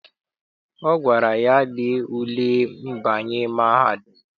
Ọ gwara ya, lee ule mbanye mahadum!